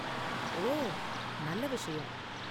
ஓ, நல்ல விஷயம்.